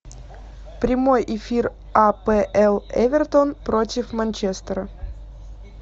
прямой эфир апл эвертон против манчестера